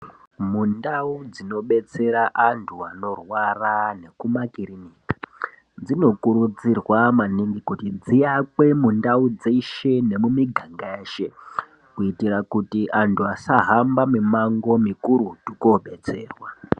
Mundau dzinobetsera antu anorwara nekumakirinika dzinokurudzirwa maningi kuti dziakwe mundau dzeshe nemumiganga yeshe kuitira kuti antu asahambe mumango mukurutu kodetserwa.